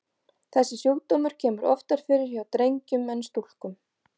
Þessi sjúkdómur kemur oftar fyrir hjá drengjum en stúlkum.